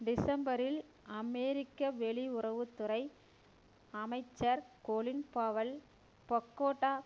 டிசம்பரில் அமெரிக்க வெளியுறவு துறை அமைச்சர் கொலின் பவெல் பக்கோட்டா